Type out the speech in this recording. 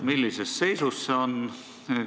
Mis seisus see on?